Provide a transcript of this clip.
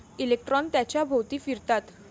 Electron त्याच्या भोवती फिरतात.